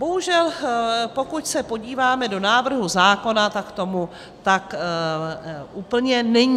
Bohužel pokud se podíváme do návrhu zákona, tak tomu tak úplně není.